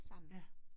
Ja